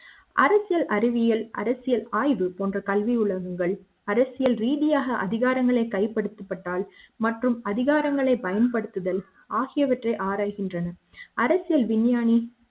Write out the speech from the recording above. அரசியல் அறிவியல் அரசியல் ஆய்வு போன்ற கல்வி உலகங்கள் அரசியல் ரீதியாக அதிகாரங்கள் கை படுத்தப்பட்டால் மற்றும் அதிகாரங்களை பயன்படுத்துதல் ஆகியவற்றை ஆராய்கின்றன அரசியல் விஞ்ஞானி